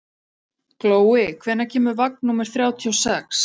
Glói, hvenær kemur vagn númer þrjátíu og sex?